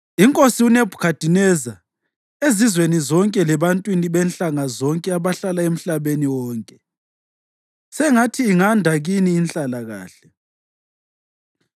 Inkosi uNebhukhadineza, Ezizweni zonke lebantwini benhlanga zonke abahlala emhlabeni wonke: Sengathi inganda kini inhlalakahle!